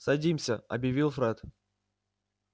садимся объявил фред